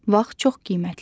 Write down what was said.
Vaxt çox qiymətlidir.